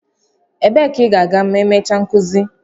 Ebee ka ị ga-aga ma emechaa nkuzi?